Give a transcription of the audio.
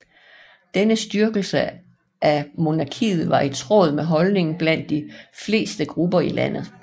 Denne styrkelse af monarkiet var i tråd med holdningen blandt de fleste grupper i landet